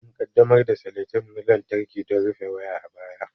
An ƙaddamar da seletep na lantarki don rufe waya a baya.